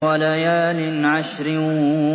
وَلَيَالٍ عَشْرٍ